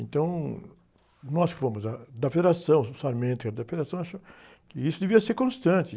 Então, ãh, nós que fomos a, da federação, o e da federação, achamos que isso devia ser constante.